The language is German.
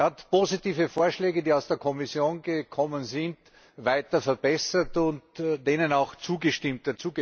Er hat positive Vorschläge, die aus der Kommission gekommen sind, weiter verbessert und ihnen auch zugestimmt.